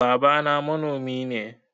Babana manomi ne.